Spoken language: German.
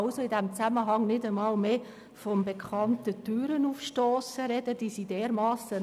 Die Notwendigkeit dieser Forderung stellen wir infrage.